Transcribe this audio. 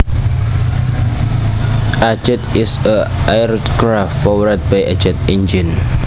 A jet is an aircraft powered by a jet engine